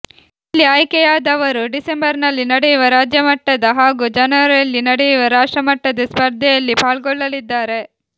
ಇಲ್ಲಿ ಆಯ್ಕೆಯಾದವರು ಡಿಸೆಂಬರ್ನಲ್ಲಿ ನಡೆಯುವ ರಾಜ್ಯಮಟ್ಟ ಹಾಗೂ ಜನವರಿಯಲ್ಲಿ ನಡೆಯುವ ರಾಷ್ಟ್ರಮಟ್ಟದ ಸ್ಪರ್ಧೆಯಲ್ಲಿ ಪಾಲ್ಗೊಳ್ಳಲಿದ್ದಾರೆ